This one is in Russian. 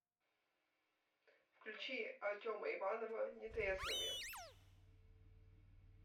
включи артема иванова нетрезвыми